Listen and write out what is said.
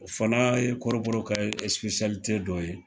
O fana ye kɔrɔbɔrɔw ka ɛsipesiyalite dɔ ye